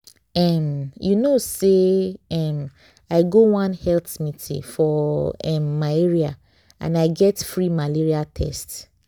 um you know say um i go one health meeting for um my area and i get free malaria test.